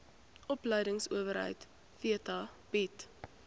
opleidingsowerheid theta bied